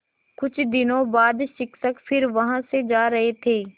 कुछ दिनों बाद शिक्षक फिर वहाँ से जा रहे थे